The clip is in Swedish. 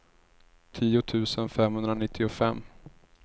tio tusen femhundranittiofem